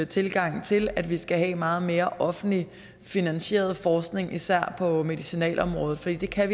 tilgang til at vi skal have meget mere offentligt finansieret forskning især på medicinalområdet for vi kan